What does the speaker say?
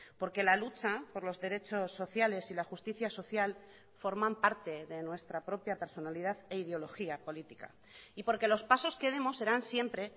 porque la lucha por los derechos sociales y la justicia social forman parte de nuestra propia personalidad e ideología política y porque los pasos que demos serán siempre